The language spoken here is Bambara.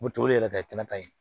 Moto boli yɛrɛ ka kɛ kɛnɛ kan yen